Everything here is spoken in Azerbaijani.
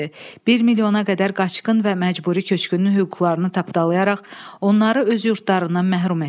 Bir milyona qədər qaçqın və məcburi köçkünün hüquqlarını tapdalayaraq onları öz yurdlarından məhrum etdi.